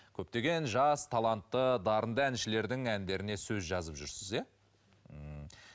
көптеген жас талантты дарынды әншілердің әндеріне сөз жазып жүрсіз иә ммм